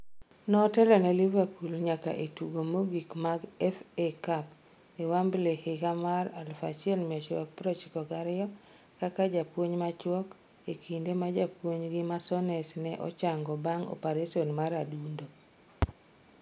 Notelo ne Liverpool nyaka e tugo mogik mag FA Cup e Wembley e higa mar 1992 kaka japuonj machuok e kinde ma japuonjgi ma Souness ne ochango bang' opareson mar adundo.